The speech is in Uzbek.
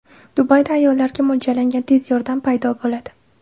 Dubayda ayollarga mo‘ljallangan tez yordam paydo bo‘ladi.